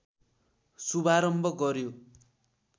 शुभारम्भ गर्‍यो